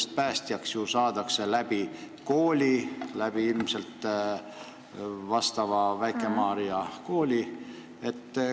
Sest päästjaks õpitakse koolis, põhiliselt Väike-Maarja õppekeskuses.